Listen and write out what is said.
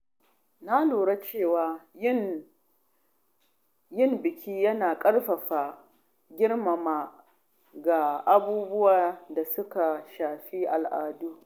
Na lura cewa yin biki yana ƙarfafa girmamawa ga abubuwan da suka shafi al’adu.